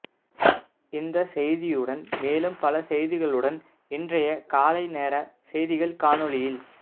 இந்த செய்தியுடன் மேலும் பல செய்திகளுடன் இன்றைய காலைநேர செய்திகள் காணொளியில்